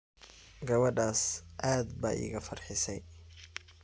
Gawadhas cad baa igafarxisay.